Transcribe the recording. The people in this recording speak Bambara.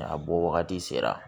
A bɔ wagati sera